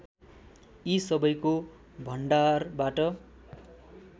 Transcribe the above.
यी सबैको भण्डारबाट